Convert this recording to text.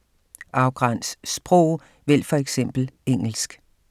Afgræns sprog: vælg for eksempel engelsk